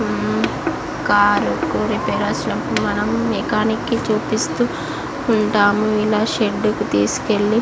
అమ్మ్ car కు repair వచ్చినప్పుడు మనం మెకానిక్ కి చూపిస్తూ ఉంటాము. ఇలా షెడ్ కి తీసుకెళ్ళి --